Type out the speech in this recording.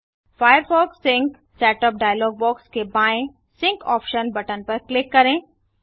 Firefox sync setup dialog box के बाएँ sync option button पर क्लिक करें